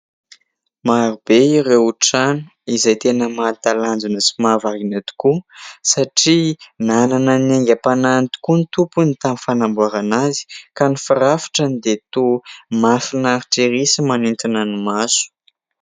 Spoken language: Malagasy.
Maro be ireo trano izay tena mahatalanjona sy mahavariana tokoa satria nanana ny haingam-panahiny tokoa ny tompony tamin'ny fanamboarana azy, ka ny firafitrany dia toa mahafinaritra ery sy manintona ny maso.